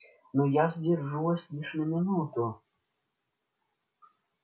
но я задержу вас лишь на минуту